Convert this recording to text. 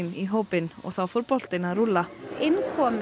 í hópinn og þá fór boltinn að rúlla inn komu